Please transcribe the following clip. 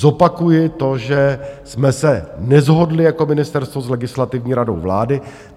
Zopakuji to, že jsme se neshodli jako ministerstvo s Legislativní radou vlády.